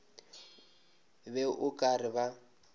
be o ka re ba